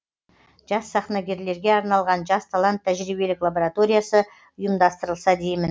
жас сахнагерлерге арналған жас талант тәжірибелік лабараториясы ұйымдастырылса деймін